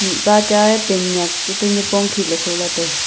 ta cha pan nak nipong khi.